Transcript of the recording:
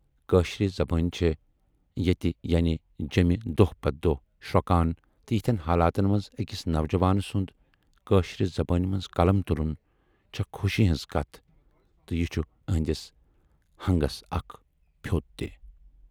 کٲشِر زَبان چھے ییتہِ یعنے جیمہِ دۅہ پَتہٕ دۅہ شرۅکان تہٕ یِتھٮ۪ن حالاتن منز ٲکِس نَوجوان سُند کٲشرِ زبٲنۍ منز قلم تُلُن چھے خوشی ہٕنز کتھ تہٕ یہِ چھُ ٲہٕندِس ہَنگس اَکھ پھیوت تہِ۔